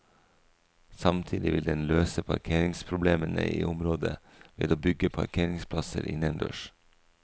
Samtidig vil den løse parkeringsproblemene i området ved å bygge parkeringsplasser innendørs.